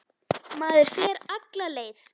Maður fer alla leið.